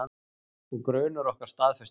Og grunur okkar staðfestur.